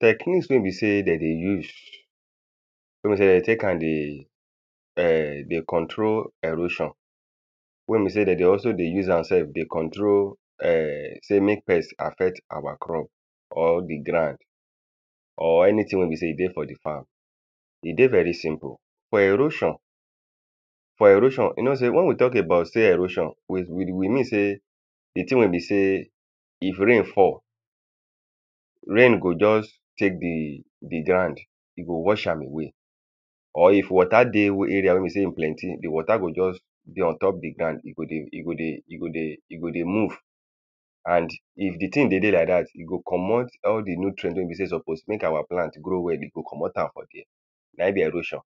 Techniques wey be sey dem dey use, wey be sey, dem dey take am dey um dey control erosion. Wey be sey dem dey also dey use am self dey control um sey make pest affect our crop. or the ground or anything wey be sey e dey for the farm. E dey very simple. For erosion for erosion, you know sey when we talk about sey erosion, we we we mean sey the thing wey be sey if rain fall rain go just take the the ground. E go wash am away or if water dey area wey be sey e plenty. The water go just dey on top the ground. E go dey e go dey e go dey e go dey move And the the thing dey dey like dat. E go comot all the nutrient wey be sey e suppose make our plant grow well. E go comot am for dere. Na im be erosion.